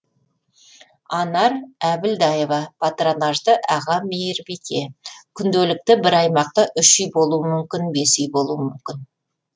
анар әбілдаева патронажды аға мейірбике күнделікті бір аймақта үш үй болуы мүмкін бес үй болуы мүмкін